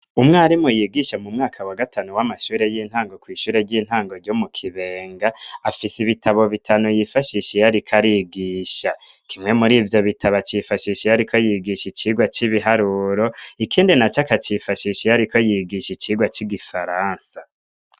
Umwarimu yigisha mu mwaka wa gatanu w'amashure y'intango ku ishure ry'intango ryo mu kibenga afise ibitabo bitanu yifashisha iyariko arigisha kimwe muri ivyo bitaba yifashisha iyariko yigisha icigwa c'ibiharuro ikindi na akacifashisha iyariko yigisha icigwa c'igifaransa.